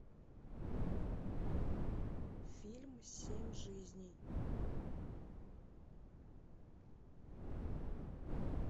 фильм семь жизней